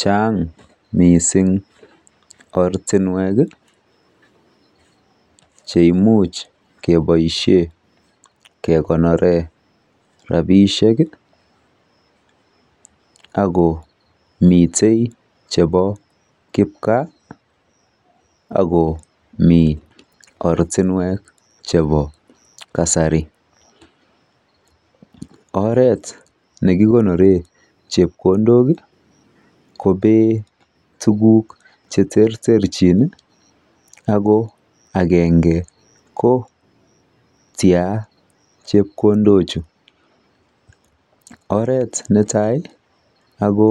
Chang mising ortinwek cheimuch keboishe kekonore rapiishek akomite chepo kipkaa akomi ortinwek chepo kasari. Oret nekikonore chepkondok kopee tuguk chechang ako akenge ko -tia chepkondochu. Oret netai ako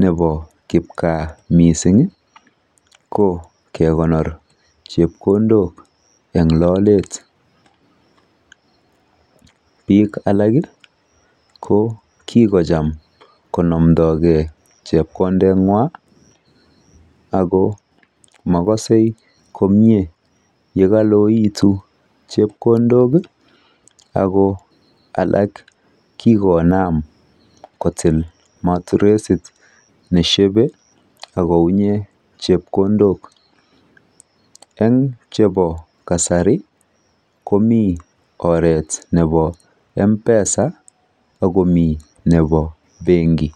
nepo kipkaa mising ko kekonor chepkondok eng lolet. Biik alak ko kikocham konomdogei chepkondeng'wa ako makosei komie yekaloekitu chepkondok ako alak kikonam kotil maturesit neshebei akounye chepkondok. Eng chepo kasari komi oret nepo mpesa akomi oret nepo benki.